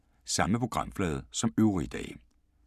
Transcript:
Samme programflade som øvrige dage